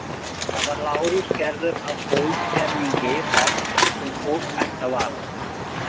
Þar var Lárus gerður að holdgervingi þess sem fólk ætti að varast.